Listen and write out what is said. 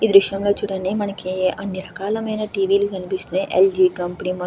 ఈ దృశ్యం చూడండి మనకి అన్ని రకాలమైన టి.వి లు కనిపిస్తున్నాయి. ఎల్ జి కంపనీ మొ --